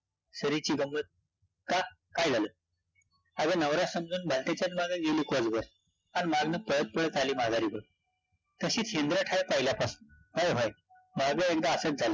सरीची गंमत, का? काय झालं? अगं, नवरा समजून भलत्याच्याच मागं गेली कोसभर, अन् मागनं पळत-पळत आली माघारी घरी तशीच आहे पहिल्यापासून, व्हयं -व्हयं, मागं एकदा असचं झालं